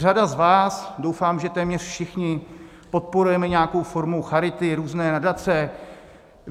Řada z vás, doufám, že téměř všichni, podporujeme nějakou formu charity, různé nadace.